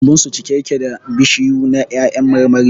Lambun su cike yake da bishiyu na 'ya'yan marmari